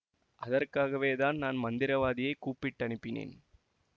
அதற்காகவே தான் நான் மந்திரவாதியைக் கூப்பிட்டனுப்பினேன்